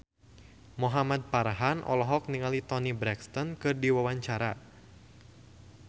Muhamad Farhan olohok ningali Toni Brexton keur diwawancara